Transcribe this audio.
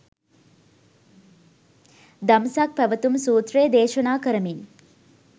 දම්සක් පැවැතුම් සූත්‍රය දේශනා කරමින්